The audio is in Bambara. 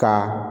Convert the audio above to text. Ka